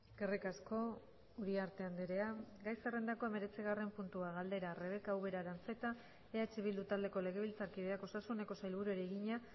eskerrik asko uriarte andrea gai zerrendako hemeretzigarrena puntua galdera rebeka ubera aranzeta eh bildu taldeko legebiltzarkideak osasuneko sailburuari egina